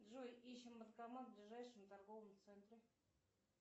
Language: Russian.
джой ищем банкомат в ближайшем торговом центре